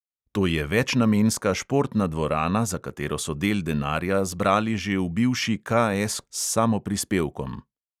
To je večnamenska športna dvorana, za katero so del denarja zbrali že v bivši KS s samoprispevkom.